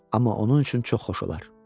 Amma onun üçün çox xoş olar.